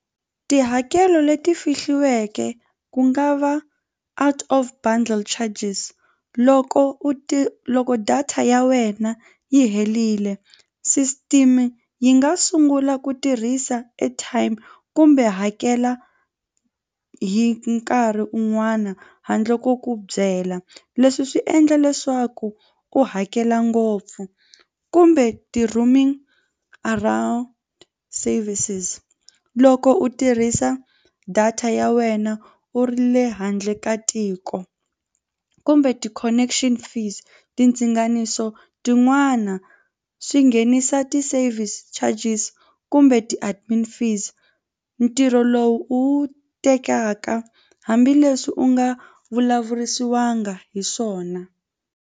Tihakelo leti fihliweke ku nga va out of bundle charges loko u ti loko data ya wena yi herile system yi nga sungula ku tirhisa airtime kumbe hakela hi nkarhi un'wana handle ko ku byela. Leswi swi endla leswaku u hakela ngopfu kumbe ti roaming around services loko u tirhisa data ya wena u ri le handle ka tiko u kumbe ti-connection fees ti ndzinganiso tin'wana swi nghenisa ti-service charges kumbe ti-admin fees ntirho lowu u wu tekaka hambileswi u nga vulavurisiwanga hi swona.